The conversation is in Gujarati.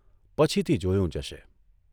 પછીથી જોયું જશે.